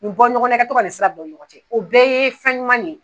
U bɔ ɲɔgɔn na i ka to ka nin sira u ni ɲɔgɔn cɛ o bɛɛ ye fɛn ɲuman de ye.